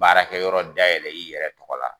Baarakɛ yɔrɔ dayɛlɛ i yɛrɛ tɔgɔ la.